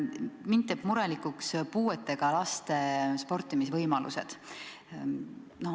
Mind teevad murelikuks puuetega laste sportimisvõimalused.